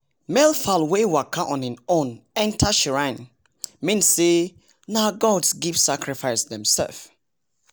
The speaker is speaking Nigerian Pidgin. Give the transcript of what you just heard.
male fowl wey waka on hin own enter shrine. mean say nah gods give sacrifice demsef